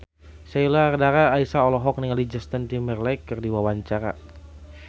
Sheila Dara Aisha olohok ningali Justin Timberlake keur diwawancara